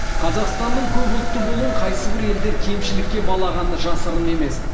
қазақстанның көпұлтты болуын қайсібір елдер кемшілікке балағаны жасырын емес